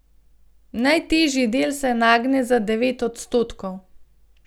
Najtežji del se nagne za devet odstotkov.